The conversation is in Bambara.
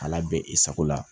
A la bɛn i sago la